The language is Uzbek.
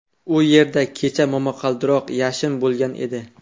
U yerda kecha momaqaldiroq, yashin bo‘lgan edi.